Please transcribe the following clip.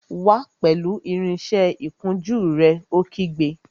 Wá pẹ̀lú irinsẹ́ ìkunjú rẹ̀! Ó kígbe